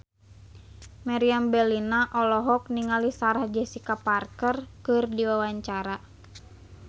Meriam Bellina olohok ningali Sarah Jessica Parker keur diwawancara